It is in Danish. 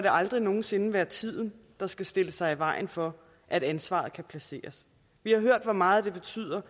aldrig nogen sinde være tiden der skal stille sig i vejen for at ansvaret kan placeres vi har hørt hvor meget det betyder